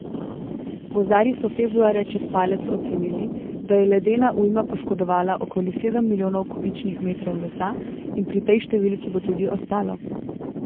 Gozdarji so februarja čez palec ocenili, da je ledena ujma poškodovala okoli sedem milijonov kubičnih metrov lesa, in pri tej številki bo tudi ostalo.